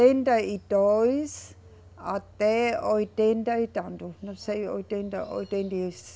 e dois até oitenta e tanto, não sei, oitenta, oitenta e